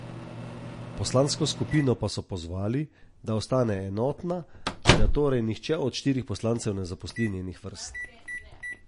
Poslansko skupino pa so pozvali, da ostane enotna in da torej nihče od štirih poslancev ne zapusti njenih vrst.